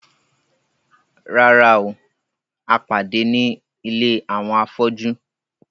Rárá o, a pàdé ní ilé àwọn afọ́jú